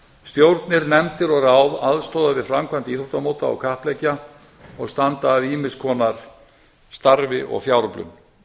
stjórnir nefndir og ráð aðstoða við framkvæmd íþróttamóta og kappleikja og standa að ýmiss konar starfi og fjáröflun